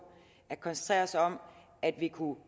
at koncentrere os om at vi kunne